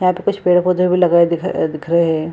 यहां पे कुछ पेड़-पौधे भी लगे हुए दिख दिख रहे है।